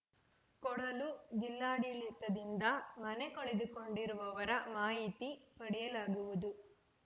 ಕೊಡಲು ಜಿಲ್ಲಾಡಳಿತದಿಂದ ಮನೆ ಕಳೆದುಕೊಂಡಿರುವವರ ಮಾಹಿತಿ ಪಡೆಯಲಾಗುವುದು